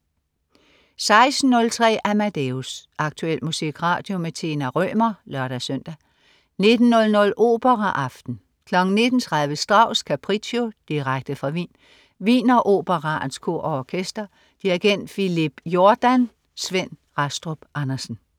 16.03 Amadeus. Aktuel musikradio. Tina Rømer (lør-søn) 19.00 Operaaften. 19.30 Strauss: Capriccio. Direkte fra Wien. Wieneroperaens Kor og Orkester. Dirigent: Philippe Jordan. Svend Rastrup Andersen